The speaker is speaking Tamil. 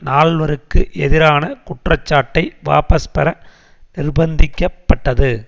நால்வருக்கு எதிரான குற்றச்சாட்டை வாபஸ்பெற நிர்ப்பந்திக்கப்பட்டது